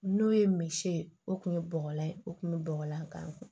N'o ye misi ye o kun ye bɔgɔlan ye o kun bɛ bɔgɔlan gan